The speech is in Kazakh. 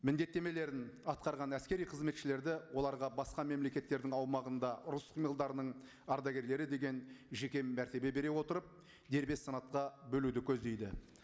міндеттемелерін атқарған әскери қызметшілерді оларға басқа мемлекеттердің аумағында ұрыс қимылдарының ардагерлері деген жеке мәртебе бере отырып дербес санатқа бөлуді көздейді